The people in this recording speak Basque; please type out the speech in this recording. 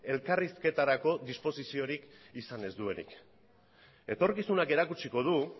elkarrizketarako disposiziorik izan ez duenik etorkizunak erakutsiko du